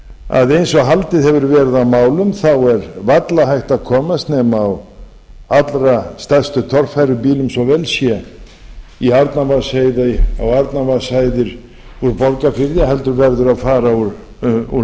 að eins og haldið hefur verið á málum þá er varla hægt að komast nema á allra stærstu torfærubílum svo vel sé í arnarvatnsheiði á arnarvatnshæðir úr borgarfirði heldur verður að fara úr miðfirði